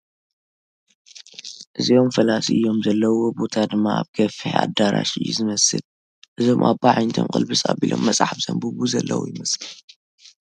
እዚኦም ፈላሲ እዮም ዘለውዎ ቦታ ድማ ኣብ ገፊሕ ኣዳራሽ እዩ ዝመስል፡ እዞም ኣቦ ኣዒንቶም ቕልብስ ኣቢሎም መፅሓፍ ዘንብቡ ዘለዉ ይመስሉ ።